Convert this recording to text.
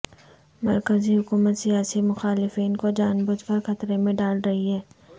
مرکزی حکومت سیاسی مخالفین کو جان بوجھ کر خطرے میں ڈال رہی ہے